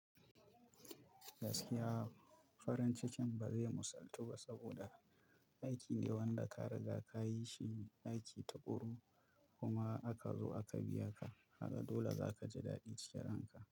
Gaskiya farin cikin ba zai musaltu ba saboda aiki ne wanda ka riga ka yi shi aiki takuru kuma aka zo aka biya ka. Kaga dole za ka ji daɗi cike ranka.